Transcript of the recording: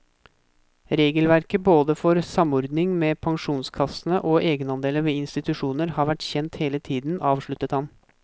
Regelverket både for samordning med pensjonskassene og egenandeler ved institusjoner har vært kjent hele tiden, avsluttet han.